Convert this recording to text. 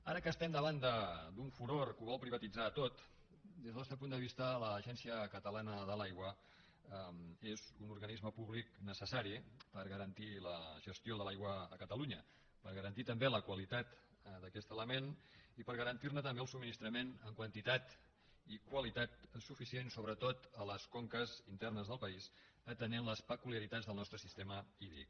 ara que estem davant d’un furor que ho vol privatitzar tot des del nostre punt de vista l’agència catalana de l’aigua és un organisme públic necessari per garantir la gestió de l’aigua a catalunya per garantir també la qualitat d’aquest element i per garantir ne també el subministrament en quantitat i qualitat suficient sobretot a les conques internes del país atenent les peculiaritats del nostre sistema hídric